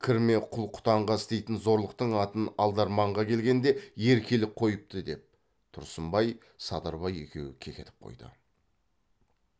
кірме құл құтанға істейтін зорлықтың атын алдарманға келгенде еркелік қойыпты деп тұрсынбай садырбай екеуі кекетіп қойды